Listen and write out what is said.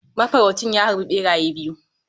Mafaraucin ya harbi beraye biyu.